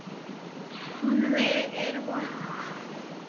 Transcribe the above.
Hún er vond.